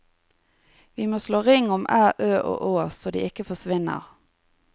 Vi må slå ring om æ, ø og å så de ikke forsvinner.